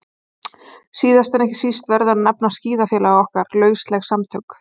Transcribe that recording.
Síðast en ekki síst verður að nefna skíðafélag okkar, lausleg samtök